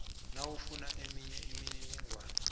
nawufuna eminye imininingwana